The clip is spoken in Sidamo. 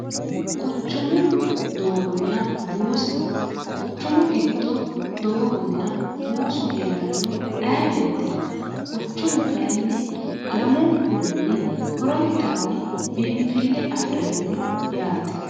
quchumu doogonna buusa quchumu giddo doogonna buusu hee'ranno ayeweete no quchumu kayinni lamunkurinni horontanni biinfille afi'ranno yaate